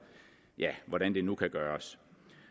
hvordan det nu kan gøres